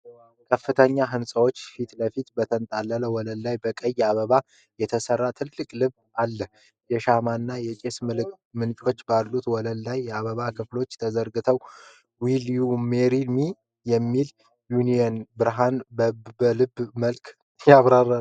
ከፍተኛ ህንፃዎች ፊትለፊት በተንጣለለ ወለል ላይ በቀይ አበባ የተሰራ ትልቅ ልብ አለ። የሻማና የጭስ ምንጭች ባሉበት ወለሉ ላይ የአበባ ቅጠሎች ተዘርግተዋል። "Will You Marry Me?" የሚል የኒዮን ብርሃን በልቡ መሃል ያበራል።